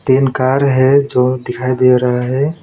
तीन कार है जो दिखाई दे रहा है।